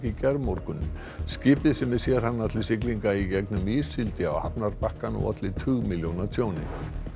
í gærmorgun skipið sem er sérhannað til siglinga í gegnum ís sigldi á hafnarbakkann og olli tugmilljóna tjóni